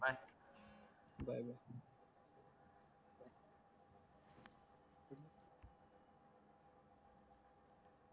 bye